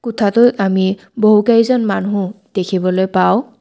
কোঠাটোত আমি বহুকেইজন মানুহ দেখিবলৈ পাওঁ।